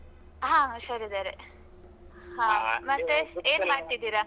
ಹಾ ಹುಷಾರಿದ್ದಾರೆ. ಹ ಮತ್ತೆ ಏನ್ ಮಾಡ್ತಿದ್ದೀರಾ.